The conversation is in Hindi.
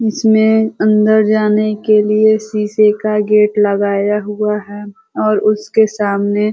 इसमें अंदर जाने के लिए शीशे का गेट लगाया हुआ है और उसके सामने --